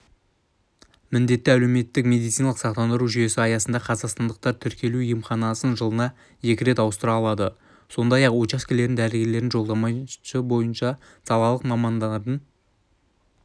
міндетті әлеуметтік медициналық сақтандыру жүйесі аясында қазақстандықтар тіркелу емханасын жылына екі рет ауыстыра алады сондай-ақ учаскелік дәрігердің жолдамасы бойынша салалық мамандардың